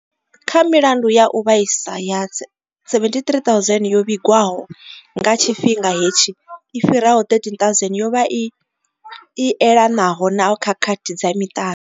Kha milandu ya u vhaisa ya 73 000 yo vhigiwaho nga tshifhinga hetshi, i fhiraho 13 000 yo vha i elanaho na khakhathi dza miṱani.